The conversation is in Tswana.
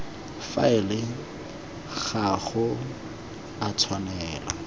faele ga go a tshwanela